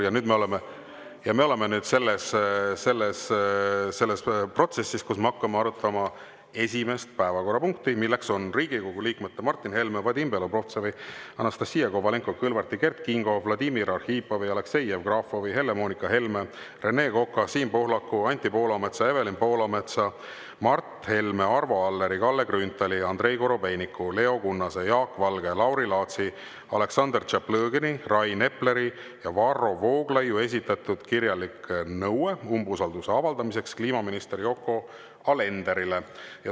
Ja nüüd me oleme selles protsessis, kus me hakkame arutama esimest päevakorrapunkti, milleks on Riigikogu liikmete Martin Helme, Vadim Belobrovtsevi, Anastassia Kovalenko-Kõlvarti, Kert Kingo, Vladimir Arhipovi, Aleksei Jevgrafovi, Helle-Moonika Helme, Rene Koka, Siim Pohlaku, Anti Poolametsa, Evelin Poolametsa, Mart Helme, Arvo Alleri, Kalle Grünthali, Andrei Korobeiniku, Leo Kunnase, Jaak Valge, Lauri Laatsi, Aleksandr Tšaplõgini, Rain Epleri ja Varro Vooglaiu esitatud kirjalik nõue umbusalduse avaldamiseks kliimaminister Yoko Alenderile.